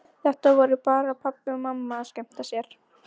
Þetta voru bara pabbi og mamma að skemmta sér.